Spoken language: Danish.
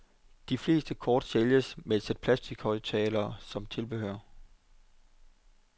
De fleste kort sælges med et sæt plastichøjttalere som tilbehør.